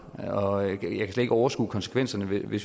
og jeg kan slet ikke overskue konsekvenserne hvis vi